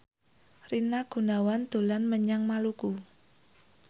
Rina Gunawan dolan menyang Maluku